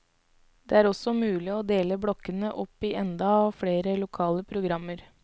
Det er også mulig å dele blokkene opp i enda flere lokale programmer.